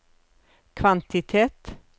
kvantitet